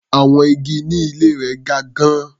Àwọn igi ní ilé rẹ̀ ga gan-an.